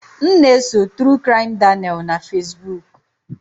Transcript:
M na-eso True Crime Daniel na Fesbuk